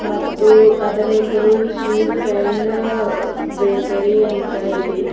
ಮತ್ತು ಅದರ ಹೆಸರು ಶ್ರೀ ಫ್ರೆಂಡ್ ಬೇಕರಿ ಅಂತ ಇದೆ.